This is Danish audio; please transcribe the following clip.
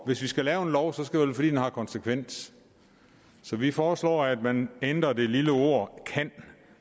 vi skal lave en lov skal fordi den har konsekvenser så vi foreslår at man ændrer det lille ord kan